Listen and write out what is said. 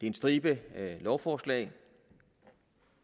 en stribe lovforslag